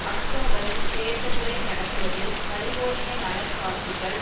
அக்டோபரில் தேர்தல்களை நடத்துவதில் கலிபோர்னிய நலன் வாக்குகள்